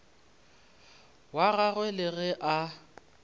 wa gagwe le ge a